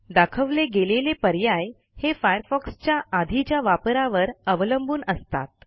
दाखवले गेलेले पर्याय हे फायरफॉक्सच्या आधीच्या वापरावर अवलंबून असतात